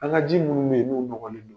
An ka ji minnu bɛ yen n'u nɔgɔlen don.